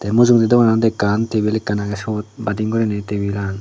te mujungedi dogananot ekkan table ekkan age sut badi guriney tebilan.